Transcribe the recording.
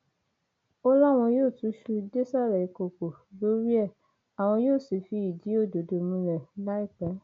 ó láwọn yóò túṣu désàlẹ ìkọkọ lórí ẹ àwọn yóò sì fìdí òdodo múlẹ láìpẹ